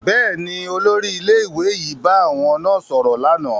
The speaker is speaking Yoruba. Bẹẹni, olórí ilé-ìwé yìí bá àwọn náà sọrọ lànà